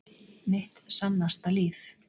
Mitt sannasta líf.